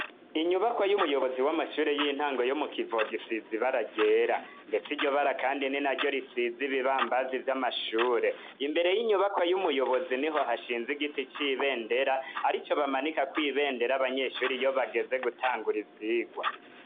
Inyubaka y'umuyobozi w'amashure y'intango yo mu Kivoga isize ibara ryera ndetse iryo bara kandi ni na ryo risize ibibambazi vy'amashure. Imbere y'inyubakwa y'umuyobozi niho hashinze igiti c'ibendera arico bamanikako ibendera abanyeshure iyo bageze gutangura ivyigwa.